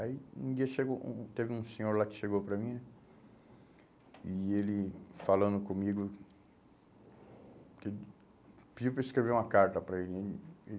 Aí um dia chegou um, teve um senhor lá que chegou para mim e ele, falando comigo, que ele, pediu para eu escrever uma carta para ele. Aí